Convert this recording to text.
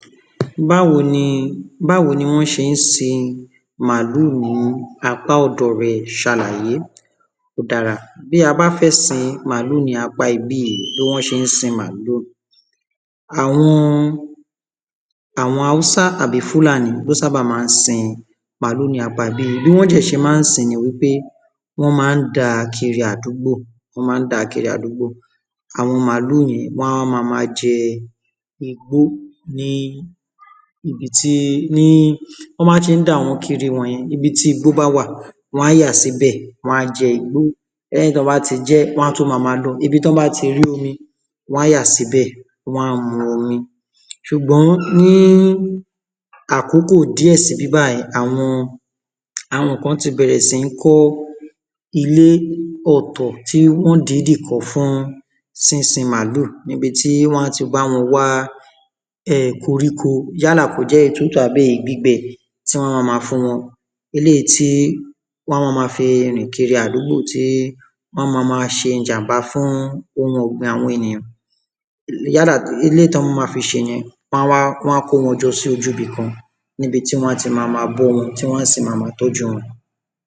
báwo ni wọ́n ṣe ń sin màálù ní apá ọ̀dọ̀ rẹ ṣàlàyé ó dára bí a bá fẹ́ sin màálù ní apá ibí yìí bí wọ́n ṣe ń sin màálù àwọn Hausa tàbí àwọn Fulani ló sábà maá n sin màálù ní apá ibí yìí bí wọ́n dẹ̀ ṣe maá n sin ni pé wọ́n maá n dàá kiri àdúgbò àwọn màálù yẹn wọn a máa wa máa jẹ igbó ni ibiti wọnba ti n dà wọ́n kiri wọ̀nyẹn, nibiti igbó bá wà níbẹ̀, wọn á yà síbẹ wọn á jẹ igbó lẹ́yìn tí wọ́n bá ti jẹ ẹ́, wọn á tún máa máa lọ ibi tí wọ́n bá ti rí omi ni wọn á yà síbẹ̀, wọn á mu omi ṣùgbọ́n ní àkóko díẹ̀ sibi bayii, awọn àwọn kan ti bẹ̀rẹ̀ sí ní kọ́ ilé ọ̀tọ̀ tí wọ́n dìídì kọ́ fún sisin màálù níbití wọn a ti bá wọn wá koríko yálà kó jẹ́ tútù tàbí èyi gbígbẹ ti wọ́n yóò maa fún wọn eléyìí tí wọn a máa fi rìn kiri àdúgbò tí wọn ma máa ṣe ìjàm̀bá fun ohun ọ̀gbin àwọn ènìyàn yála ki eléyìí tí wọn yóò maa fi ṣe ìyẹn wọ́n á wá, wọ́n á kó wọn jọ sí ojú ibì kan níbití wọn á ti máa ma bọ́ wọn tí wọn a sì maa tọ́ju wọn